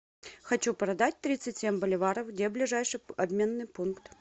хочу продать тридцать семь боливаров где ближайший обменный пункт